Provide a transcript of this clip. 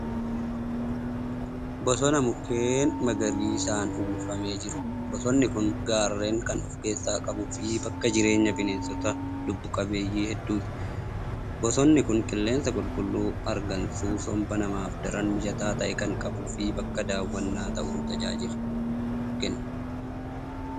Bosona mukeen magariisaan uwwifamee jiru. Bosonni kun gaarreen kan ofkeessaa qabuu fi bakka jireenyaa bineensota lubbuu qabeeyyii hedduuti. Bosonni kun qilleensa qulqulluu hargansuu somba namaaf daran mijataa ta'e kan qabuu fi bakka daawwannaa ta'uun tajaajila kenna.